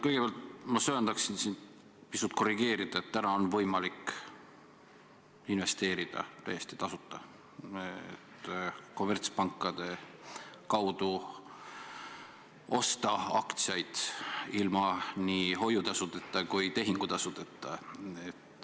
Kõigepealt ma söandaksin sind pisut korrigeerida: täna on võimalik investeerida ka täiesti tasuta, osta kommertspankade kaudu aktsiaid ilma hoiu- ja tehingutasudeta.